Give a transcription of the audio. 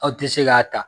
Aw tɛ se k'a ta